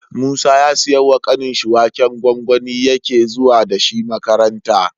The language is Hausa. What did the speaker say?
Musa ya siya wa kanin shi waken gwangwani yake zuwa dashi makaranta